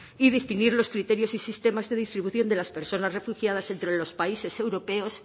y distinguir los criterios y sistemas de distribución de las personas refugiadas entre los países europeos